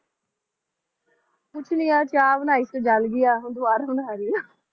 ਕੁਝ ਨਹੀਂ ਯਾਰ ਚਾਅ ਬਣਾਈ ਸੀ ਜਲ ਗਈ ਆ ਹੁਣ ਦੁਬਾਰਾ ਬਣਾ ਰਹੀ ਆਂ